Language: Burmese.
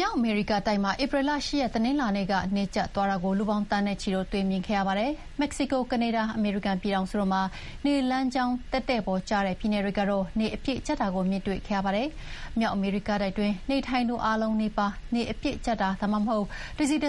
မြောက်အမေရိကတိုက်မှာ ဧပြီလ ၈ ရက် တနင်္လာနေ့က နေကြတ်သွားတာကို လူပေါင်းသန်းနဲ့ချီတို့ တွေ့မြင်ခဲ့ရပါတယ်။ မက္ကဆီကို၊ ကနေဒါ၊ အမေရိကန်ပြည်ထောင်စုတို့မှာ နေလမ်းကြောင်းတည့်တည့်ပေါ်ကျတဲ့ ပြည်နယ်တွေကတော့ နေအပြည့်ကြတ်တာကိုမြင်တွေ့ခဲ့ရပါတယ်။ မြောက်အမေရိကတိုက်တွင်းနေထိုင်သူအားလုံးနီးပါး နေအပြည့်ကြတ်တာ၊ ဒါမှမဟုတ် တစိတ်